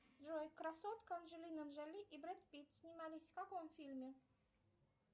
джой красотка анджелина джоли и брэд питт снимались в каком фильме